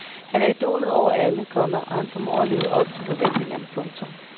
Han er idolet over alle, komma og han formår at leve op til forventningerne. punktum